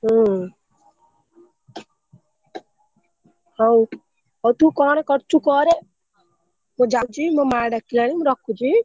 ହୁଁ ହଉ ହଉ ତୁ କଣ କରୁଛୁ କରେ ମୁ ଯାଉଛି ମୋ ମା ଡାକିଲାଣି ମୁ ରଖୁଛି।